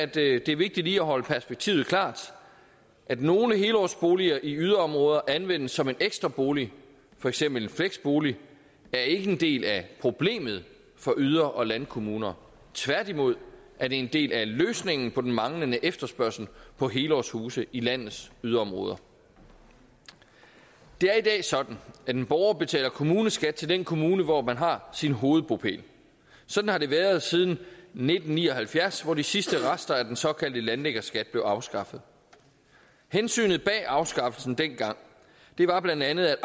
det er vigtigt lige at holde sig perspektivet klart at nogle helårsboliger i yderområder anvendes som en ekstra bolig for eksempel en fleksbolig er ikke en del af problemet for yder og landkommuner tværtimod er det en del af løsningen på den manglende efterspørgsel på helårshuse i landets yderområder det er i dag sådan at en borger betaler kommuneskat til den kommune hvor man har sin hovedbopæl sådan har det været siden nitten ni og halvfjerds hvor de sidste rester af den såkaldte landliggerskat blev afskaffet hensynet bag afskaffelsen dengang var blandt andet at